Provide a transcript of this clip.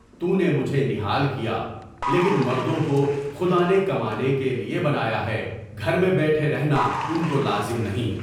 تونے مجھے نہال کیا، لیکن مردوں کو خدا نے کمانے کے لیے بنایا ہے، گھر میں بیٹھے رہنا ان کو لازم نہیں۔